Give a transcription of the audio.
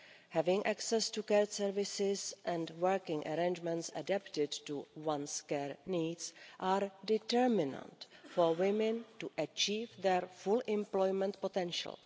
Having access to care services and working arrangements adapted to one's care needs are determinant for women to achieve their full employment potential.